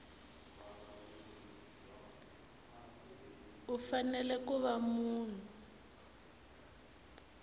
u fanele ku va munhu